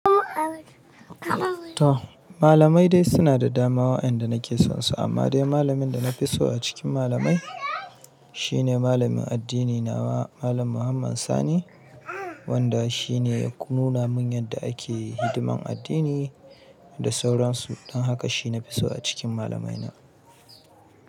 Toh, malamai de suna da dama wadan da na ke son su. Amman de malamin da na fi so a cikin malamai, shine malamin addini nawa malam Muhammad Sani wanda shi ne ya nuna mun yadda ake hidiman addini da sauran su. Don haka shi na fi so a cikin malamai na.